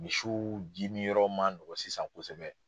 Misiw ji min yɔrɔ ma nɔgɔ sisan kosɛbɛ.